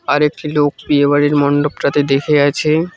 আরেকটি লোক বিয়ে বাড়ির মন্ডপটাতে দেখে আছে।